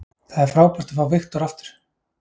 Það er frábært að fá Viktor aftur.